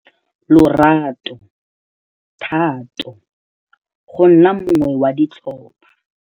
Lorato, thato, go nna mongwe wa ditlhopha.